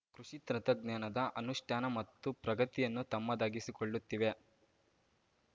ಕೃಷಿ ತ್ರಾತಾಜ್ಞಾನದ ಅನುಷ್ಠಾನ ಮತ್ತು ಪ್ರಗತಿಯನ್ನು ತಮ್ಮದಾಗಿಸಿಕೊಳ್ಳುತ್ತಿವೆ